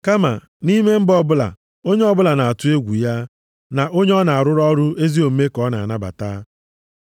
Kama nʼime mba ọbụla, onye ọbụla na-atụ egwu ya na onye na-arụ ọrụ ezi omume ka ọ na-anabata.